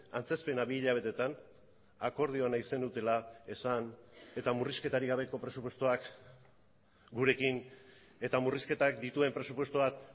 antzezpena bi hilabeteetan akordioa nahi zenutela esan eta murrizketarik gabeko presupuestoak gurekin eta murrizketak dituen presupuestoak